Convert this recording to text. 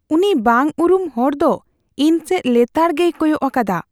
ᱩᱱᱤ ᱵᱟᱝ ᱩᱨᱩᱢ ᱦᱚᱲ ᱫᱚ ᱤᱧ ᱥᱮᱪ ᱞᱮᱛᱟᱲᱜᱮᱭ ᱠᱚᱭᱚᱜ ᱟᱠᱟᱫᱟ ᱾